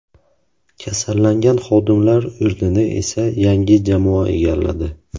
Kasallangan xodimlar o‘rnini esa yangi jamoa egalladi.